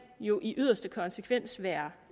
jo i yderste konsekvens være